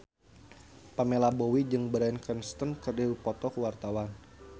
Pamela Bowie jeung Bryan Cranston keur dipoto ku wartawan